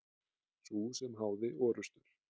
Sú sem háði orrustur.